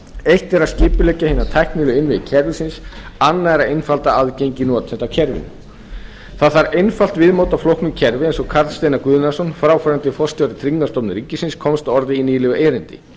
eitt er að skipuleggja hina tæknilegu innviði kerfisins annað er að einfalda aðgengi notenda að kerfinu það þarf einfalt viðmót að flóknu kerfi eins og karl steinar guðnason fráfarandi forstjóri tryggingastofnunar ríkisins komst að orði í nýlegu erindi